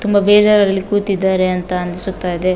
ತುಂಬಾ ಬೇಜಾರಲ್ಲಿ ಕೂತಿದ್ದಾರೆ ಅಂತ ಅನ್ಸುತ್ತಾ ಇದೆ .